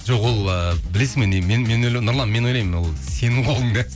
жоқ ол ыыы білесің бе нұрлан мен ойлаймын ол сенің қолыңда